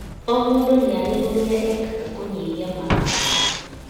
O mũndũ nĩarĩ ũrĩa ekaga kũnyihia marakara